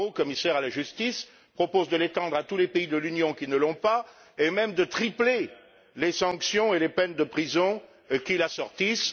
Barrot, commissaire à la justice, propose de l'étendre à tous les pays de l'Union qui ne l'ont pas et même de tripler les sanctions et les peines de prison qui l'assortissent.